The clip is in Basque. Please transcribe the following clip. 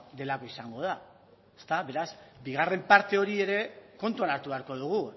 delako izango da ezta beraz bigarren parte hori ere kontuan hartu beharko dugu